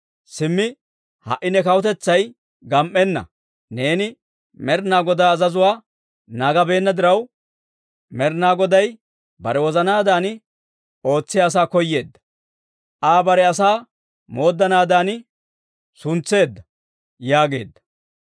Simmi ha"i ne kawutetsay gam"enna; neeni Med'inaa Godaa azazuwaa naagabeenna diraw, Med'inaa Goday bare wozanaadan ootsiyaa asaa koyeedda; Aa bare asaa mooddanaadan suntseedda» yaageedda.